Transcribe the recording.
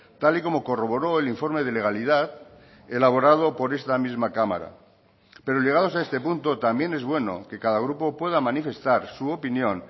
tal y como corroboró el informe de legalidad elaborado por esta misma cámara pero llegados a este punto también es bueno que cada grupo pueda manifestar su opinión